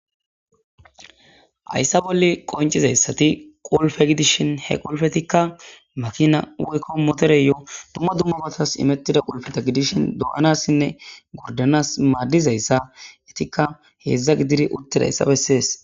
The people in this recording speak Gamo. Hayssa bolle qoncizayssati qulfe gidishin he qolfetikka makina woykko motore yo dumma dummabatas imettida qulfeta gidishin do'anassinne gordanas maaddizayssa etikka heedzdza gidiri urtedayssa bessees.